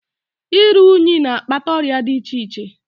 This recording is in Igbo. Iru unyi na-akpata ọrịa di iche iche.